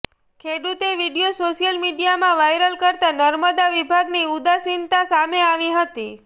ખેડુતે video social મીડિયામાં viral કરતાં નર્મદા વિભાગની ઉદાસીનતા સામે આવી હતી